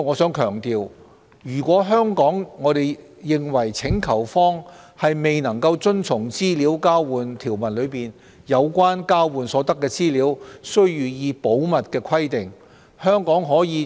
我想強調，若香港認為請求方未能遵從資料交換條文中有關交換所得資料需予以保密的規定，可